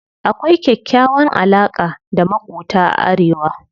Akwai kyakkyawan alaƙa da maƙota a arewa.